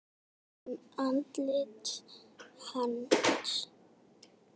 Tekur um andlit hans.